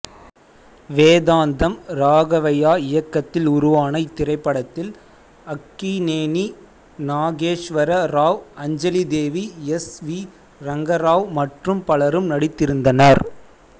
வேதாந்தம் ராகவையா இயக்கத்தில் உருவான இத்திரைப்படத்தில் அக்கினேனி நாகேஸ்வர ராவ் அஞ்சலிதேவி எஸ் வி ரங்கராவ் மற்றும் பலரும் நடித்திருந்தனர்